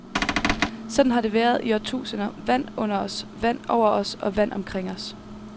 Sådan har det været i årtusinder, vand under os, vand over os, og vand omkring os.